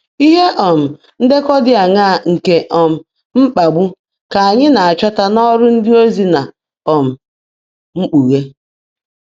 Ihe um ndekọ dị aṅaa nke um mkpagbu ka anyị na-achọta n’Ọrụ Ndịozi na um Mkpughe?